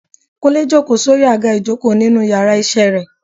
kunle jòkó sí orí agá ìjokò ninu íyarà iṣẹ re